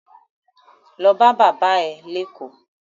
Lo bá bàbá ẹ̀ léÈkó!